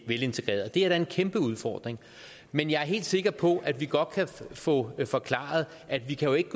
velintegrerede det er da en kæmpe udfordring men jeg er helt sikker på at vi godt kan få forklaret at vi jo ikke